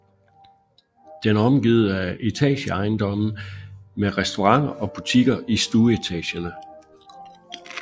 Den er omgivet af etageejendomme med restauranter og butikker i stueetagerne